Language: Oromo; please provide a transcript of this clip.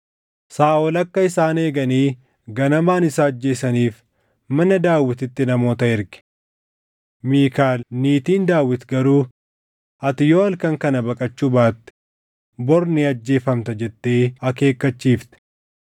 Saaʼol akka isaan eeganii ganamaan isa ajjeesaniif mana Daawititti namoota erge. Miikaal niitiin Daawit garuu, “Ati yoo halkan kana baqachuu baatte bori ni ajjeefamta” jettee akeekkachiifte.